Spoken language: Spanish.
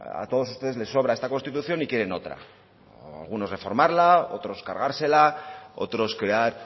a todos ustedes les sobra esta constitución y quieren otra o algunos reformarla otros cargársela otros crear